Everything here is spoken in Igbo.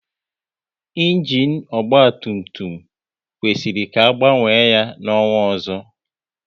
Ịnginu ọgba tum tum kwesịrị ka a gbanwe ya n'ọnwa ọzọ